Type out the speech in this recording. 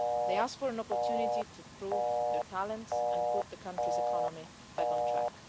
They are asking for an opportunity to prove their talents and put the country's economy back on track.